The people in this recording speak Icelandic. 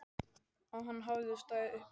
Og hann hafði staðið uppi einn.